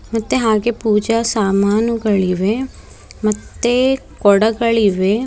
ಮತ್ತೆ ಹಾಗೆ ಪೂಜಾ ಸಾಮಾನುಗಳಿವೆ ಮತ್ತೆ ಕೊಡಗಳಿವೆ.